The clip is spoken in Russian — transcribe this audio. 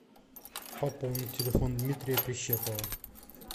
пополнить телефон дмитрия прищепова